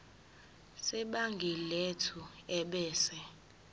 sebhangi lethu ebese